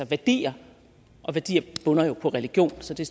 værdier og værdier bunder jo i religion så det